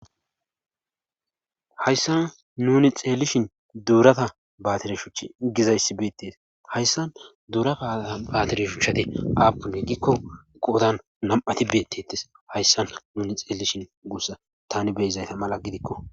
Hayssa nuni xeelishin duurata baatire shuch gizayssi beetes hayssa duurata aaa baatire shuchati aappune gikko qodan nam'ati beettetes hayssa nuni xeelishin guussa tani beyizayta mala gidikko